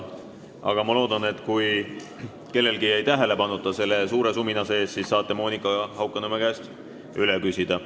Aga ma loodan, et kui kellelgi jäi see selle suure sumina sees kuulmata, siis saate Monika Haukanõmme käest üle küsida.